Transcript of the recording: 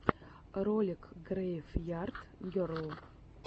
ролик грейв ярд герл